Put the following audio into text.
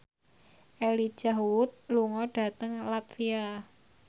Elijah Wood lunga dhateng latvia